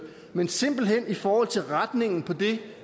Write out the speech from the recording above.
men simpelt hen i forhold til retningen på det